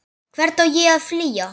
Hvert á ég að flýja?